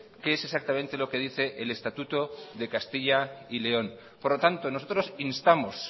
qué es exactamente lo que dice el estatuto de castilla y león por lo tanto nosotros instamos